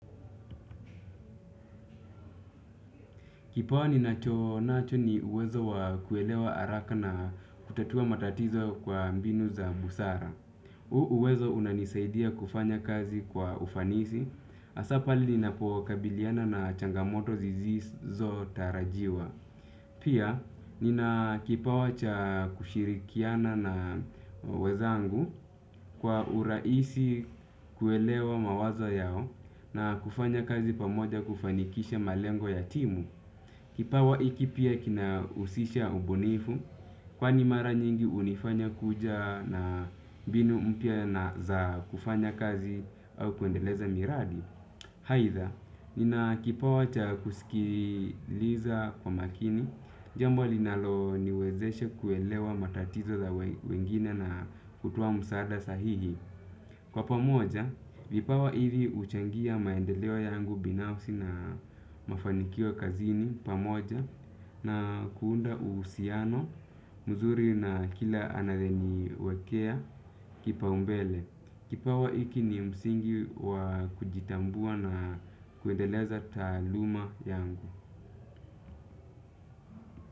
Kipawa ninacho nacho ni uwezo wa kuelewa haraka na kutatua matatizo kwa mbinu za busara. Uwezo unanisaidia kufanya kazi kwa ufanisi hasa pale ninapokabiliana na changamoto zizizotarajiwa. Pia nina kipawa cha kushirikiana na wenzangu kwa urahisi kuelewa mawazo yao na kufanya kazi pamoja kufanikisha malengo ya timu. Kipawa hiki pia kinahusisha ubunifu kwani mara nyingi hunifanya kuja na mbinu mpya na za kufanya kazi au kuendeleza miradi. Aidha, nina kipawa cha kusikiliza kwa makini. Jambo linaloniwezesha kuelewa matatizo za wengine na kutoa msaada sahihi. Kwa pamoja, vipawa hivi huchangia maendeleo yangu binafsi na mafanikio kazini pamoja na kuunda uhusiano mzuri na kila anayeniwekea kipa umbele. Kipawa hiki ni msingi wa kujitambua na kuendeleza taaluma yangu.